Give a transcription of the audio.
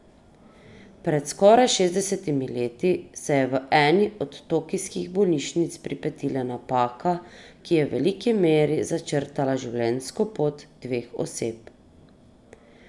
Pred skoraj šestdesetimi leti se je v eni od tokijskih bolnišnic pripetila napaka, ki je v veliki meri začrtala življenjsko pot dveh oseb.